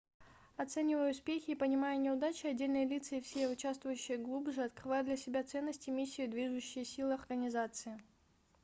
оценивая успехи и понимая неудачи отдельные лица и все участвующие глубже открывают для себя ценности миссию и движущие силы организации